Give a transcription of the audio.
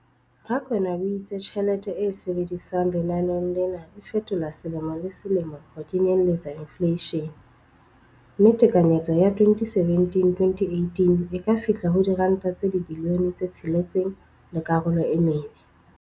Rakwena o itse tjhelete e sebediswang lenaneong lena e fetolwa selemo le selemo ho kenyelletsa infleishene, mme tekanyetso ya 2017-18 e ka fihla ho R6.4 bilione.